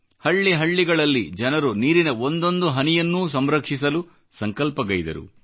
ಹಳ್ಳಿ ಹಳ್ಳಿಗಳಲ್ಲಿ ಜನರು ನೀರಿನ ಒಂದೊಂದು ಹನಿಯನ್ನು ಸಂರಕ್ಷಿಸಲು ಸಂಕಲ್ಪಗೈದರು